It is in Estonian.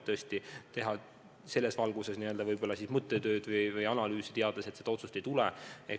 Milleks teha selles valguses mõttetööd või analüüsi, kui me teame, et seda otsust ei tule.